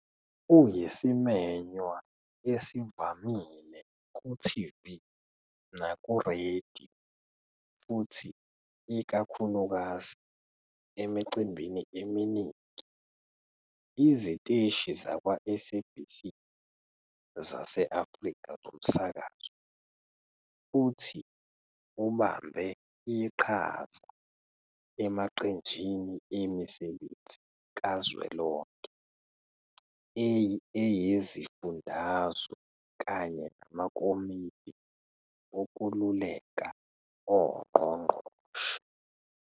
Uyisimenywa esivamile kuTV nakuRadio futhi ikakhulukazi emicimbini eminingi iziteshi zakwa-SABC zase-Afrika Zomsakazo, futhi ubambe iqhaza emaqenjini emisebenzi kazwelonke eyezifundazwe kanye namakomidi okululeka ongqongqoshe.